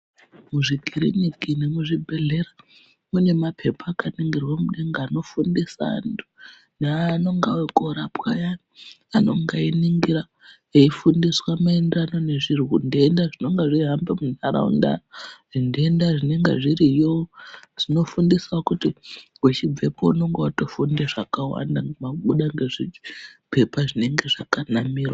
Muzvikiriniki nemuzvibhedhlera mune mapepa akaningirwa mudenga anofundisa anthu. Neanonga auya koorapwa ayani anongo einingira eifundiswa maererano nezvinthenda zvinenge zveihamba muntharaunda, zvinthenda zvinenge zviriyo. Tinofundiswawo kuti wechibvapo unenge watofunda zvakawanda kubuda ngezvipepa zvinenge zvakanamirwa.